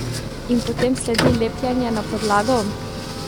In potem sledi lepljenje na podlago?